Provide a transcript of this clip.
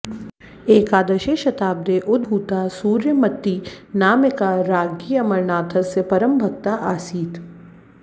एकादशे शताब्दे उद्भूता सूर्यमतीनामिका राज्ञी अमरनाथस्य परमभक्ता आसीत्